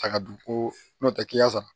Saga dun ko n'o tɛ k'i y'a sara